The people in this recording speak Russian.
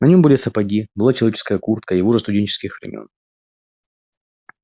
на нём были сапоги была человеческая куртка его же студенческих времён